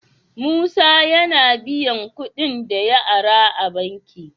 Musa yAna biyan kuɗin da ya ara a banki?